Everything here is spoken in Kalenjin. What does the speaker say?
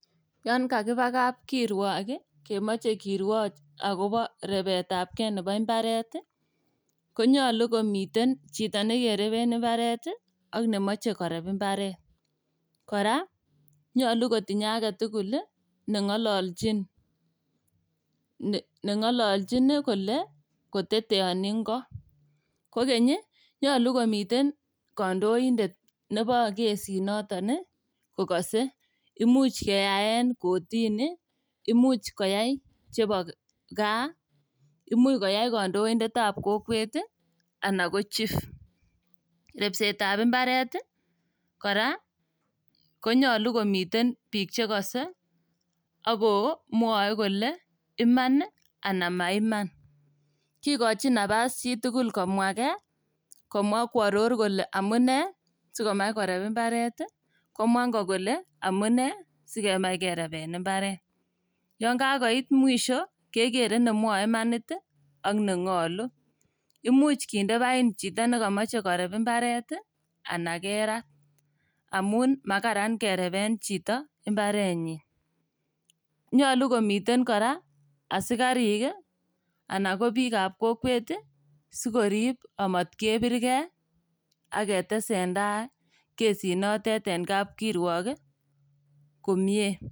Yan kakiba kab kirwok kemoche kirwoch akobo rebetabgee nebo mbareti konyolu komiten chito nekereben mbaret ii ak nemoche koreb mbaret, kora nyolu kotinye agetugul neng'ololchin, neng'ololchin ii kole koteteoni ng'o, kogeny nyolu komiten kondoindet nebo gesit noton ii kokose, imuch keyaen kotini, imuch koyai chebo gaa, imuch koyai kandoindet nebo kokwet ii anan ko chief, repset ab mbaret ii kora konyolu komiten biik chegose akomwoe kole imani anan maiman, kigochin napas chitugul komwa gee, komwa kworor kole amune sikomach korep mbaret, komwa ingo kole amune sikemach kerepen mbaret, yan kagoit mwisho kegere nemwoe imanit ak neng'olu, imuch kinde paiin chito nekamoche korep mbareti anan kerat amun makaran kerepen chito mbarenyin, nyolu komiten kora asikarik anan ko bikab kokwet sikorip komatkebirgen ak ketesendai kerit notet en kab kirwok komyee.